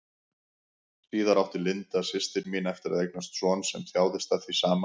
Síðar átti Linda, systir mín, eftir að eignast son sem þjáðist af því sama.